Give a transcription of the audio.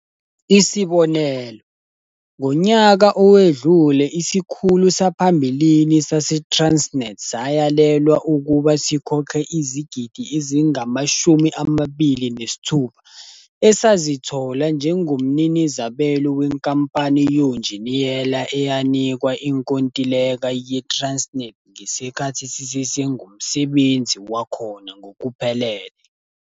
Isibonelo, ngonyaka owedlule isikhulu saphambilini saseTransnet sayalelwa ukuba sikhokhe izigidi ezingama-R26 esazithola njengomninizabelo wenkampani yonjiniyela eyanikwa inkontileka ye-Transnet ngesikhathi sisesengumsebenzi wakhona ngokuphelele.